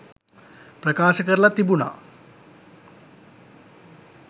ප්‍රකාශ කරලා තිබුණා